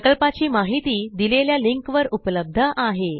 प्रकल्पाची माहिती दिलेल्या लिंकवर उपलब्ध आहे